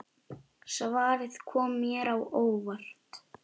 Svarið kom mér á óvart.